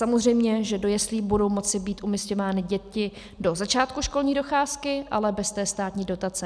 Samozřejmě, že do jeslí budou moci být umísťovány děti do začátku školní docházky, ale bez té státní dotace.